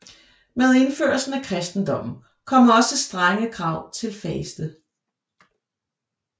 Med indførelsen af kristendommen kom også strenge krav til faste